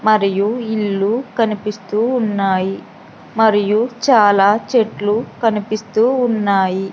మరియు ఇల్లు కనిపిస్తూ ఉన్నాయి మరియు చాలా చెట్లు కనిపిస్తూ ఉన్నాయి.